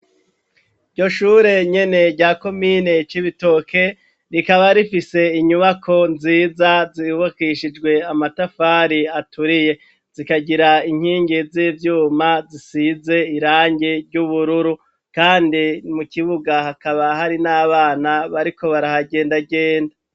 Ryo shure nyene ryako mine coibitoke rikaba rifise inyubako nziza zibukishijwe amatafari aturiye zikagira inkingi z'ivyuma zisize irange ry'ubururu, kandi mu kibuga hakaba hari n'abana bariko bariahagendagenda.